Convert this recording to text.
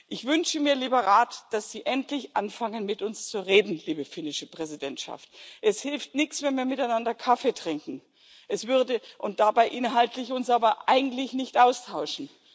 Ich wünsche mir, lieber Rat, dass Sie endlich anfangen, mit uns zu reden, liebe finnische Präsidentschaft Es hilft nichts, wenn wir miteinander Kaffee trinken und uns dabei aber inhaltlich eigentlich nicht austauschen.